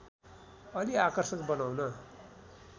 अलि आकर्षक बनाउन